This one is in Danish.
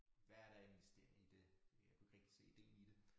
Hvad er der af investering i det jeg kunne ikke rigtig se ideen i det